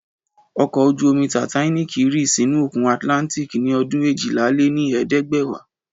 Ọkọ̀ ojú-omi Titanic rì sínú òkun Atlantic ní ọdún éjìlá-lé-ní-ẹ̀ẹ́dẹ́gbẹ̀wá